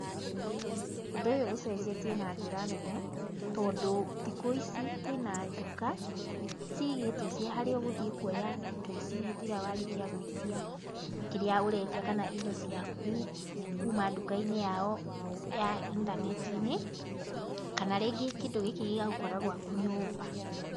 Ũndũ ũyũ ũcenjetie na njĩra nene, tondũ thikũ ici kwĩna nduka, cigĩtwo cia harĩa ũgũthiĩ kuoya indo ici hĩndĩ ĩrĩa warĩkia gũĩtia kĩrĩa ũretia kana indo ciaku, kuma nduka-inĩ yao ya intaneti-inĩ, kana rĩngĩ kĩndũ gĩkĩ gĩgagũkora gwaku nyũmba.